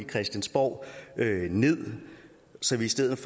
christiansborg ned så vi i stedet